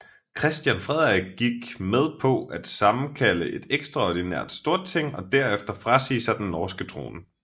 Christian Frederik gik med på at sammenkalde et ekstraordinært Storting og derefter frasige sig den norske trone